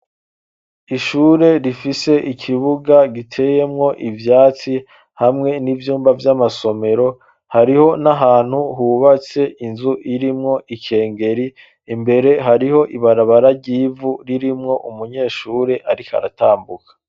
Ishure, rifise ikibuga giteyemwo ivyatsi, hamwe n'ivyumba vy'amasomero; hariho n'ahantu, hubatse inzu, irimwo ikengeri; imbere, hariho ibarabara ry'ivu, ririmwo umunyeshure ariko aratambuka.